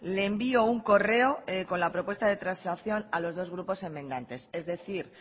le envío un correo con la propuesta de transacción a los dos grupos enmendantes es decir